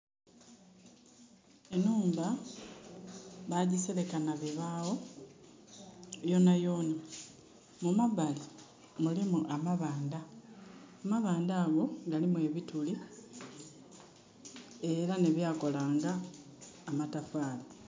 Enhumba bagisereka nha bibaagho yonayona. Mumabali mulimu amabanda. Amabanda ago galimu ebituli, era nebyakola nga amataafali.